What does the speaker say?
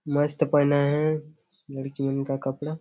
मस्त पहनाये है लड़की मन का कपडा--